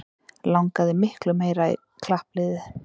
Langaði miklu meira í klappliðið